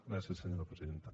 gràcies senyora presidenta